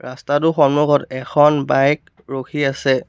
ৰস্তাটোৰ সন্মুখত এখন বাইক ৰখি আছে।